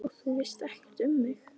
Og þú veist ekkert um mig